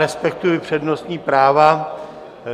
Respektuji přednostní práva.